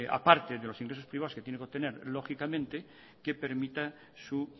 a parte de los ingresos privados que tiene que obtener lógicamente que permita su